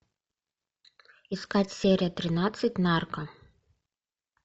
искать серия тринадцать нарко